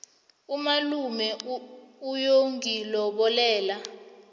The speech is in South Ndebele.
umalume uyongilobolela